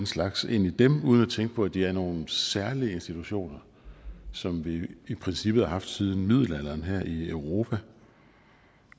slags ind i dem uden at tænke på at de er nogle særlige institutioner som vi i princippet har haft siden middelalderen her i europa